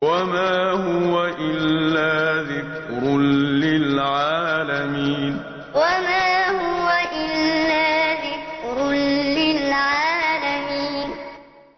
وَمَا هُوَ إِلَّا ذِكْرٌ لِّلْعَالَمِينَ وَمَا هُوَ إِلَّا ذِكْرٌ لِّلْعَالَمِينَ